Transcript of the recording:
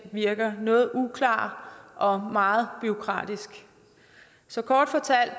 virker noget uklar og meget bureaukratisk så kort fortalt